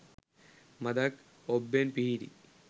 මඳක් ඔබ්බෙන් පිහිටි